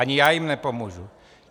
Ani já jim nepomůžu.